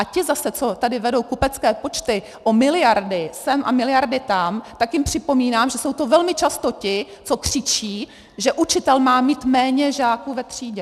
A ti zase, co tady vedou kupecké počty o miliardy sem a miliardy tam, tak jim připomínám, že jsou to velmi často ti, co křičí, že učitel má mít méně žáků ve třídě.